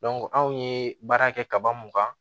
anw ye baara kɛ kaba mun kan